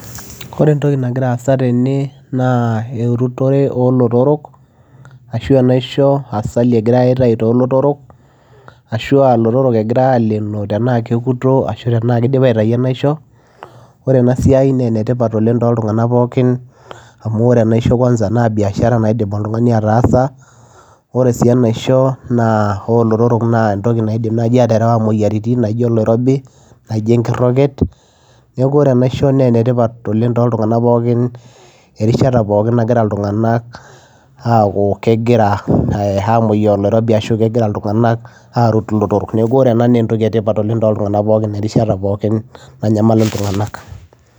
Ore entoki nagira aasa tene naa erutore olotorok ashu enaisho asali egirae aitai tolotorok ashua ilotorok egirae alenoo tenaa kekuto ashu tenaa kidipa aitai enaisho ore ena siai naa enetipat oleng toltung'anak pookin amu ore enaisho kwanza naa biashara naidim oltung'ani ataasa ore sii enaisho naa olotorok naa entoki naidim naaji aterewa imoyiaritin naijo oloirobi naijo enkiroket neku ore enaisho naa enetipat oleng toltung'anak pookin erishata pookin nagira iltung'anak aaku kegira eh amoyiaa oloirobi ashu kegira iltung'anak arut ilotorok neku ore ena naa entoki etipat oleng toltung'anak pookin erishata pookin nanyamal iltung'anak.